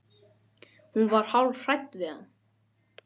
Hún var hálf hrædd við hann.